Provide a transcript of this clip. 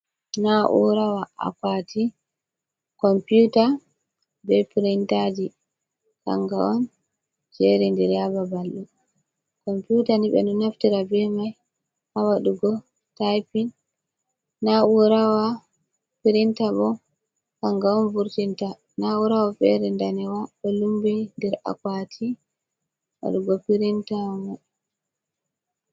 Na ura akwati kompyuta be pirintaji kanga on jeri ndir ha babalɗo komputa ni ɓeɗo naftira be mai ha wadugo taiping na urawa pirinta bo kanga on vurtinta na urawa fere danejum ɗo lumbi nder akwati wadugo pirinta mai.